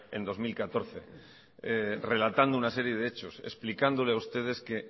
en dos mil catorce relatando una serie de hechos explicándole a ustedes que